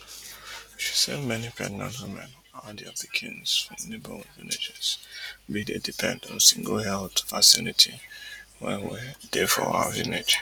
she say many pregnant women and dia pikins from neighbourhood villages bin dey depend on single health facility wey wey dey for our village